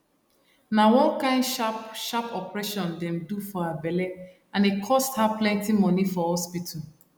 na one kain sharp sharp operation dem do for her belle and e cost her plenty money for hospital